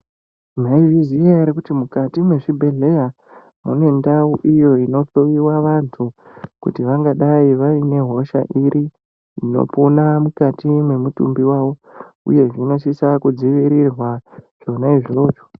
Maizvizviya here kuti mukati mezvibhedhlera mune ndau iyo inohloyiwa vantu kuti vangadai vaine hosha iri inopona mukati memutumbi wavo uye zvinosisa kudzivirirwa zvonaizvozvo.